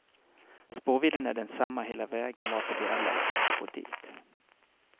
Spårvidden är densamma hela vägen varför de är lätta att få dit.